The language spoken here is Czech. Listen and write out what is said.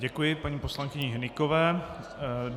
Děkuji paní poslankyni Hnykové.